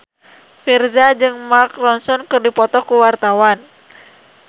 Virzha jeung Mark Ronson keur dipoto ku wartawan